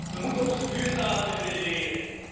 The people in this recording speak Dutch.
We moeten onze buurtalen weer willen leren.